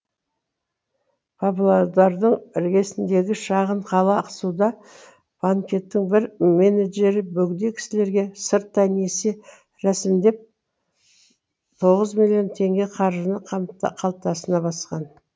павлодардың іргесіндегі шағын қала ақсуда банкеттің бір менеджері бөгде кісілерге сырттай несие рәсімдеп тоғыз миллион теңге қаржыны қалтасына басқан